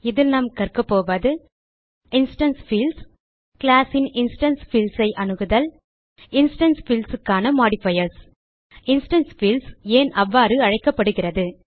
இதில் நாம் கற்கபோவது இன்ஸ்டான்ஸ் பீல்ட்ஸ் classன் இன்ஸ்டான்ஸ் பீல்ட்ஸ் ஐ அணுகுதல் இன்ஸ்டான்ஸ் fieldsக்கான மாடிஃபயர்ஸ் இன்ஸ்டான்ஸ் பீல்ட்ஸ் ஏன் அவ்வாறு அழைக்கப்படுகிறது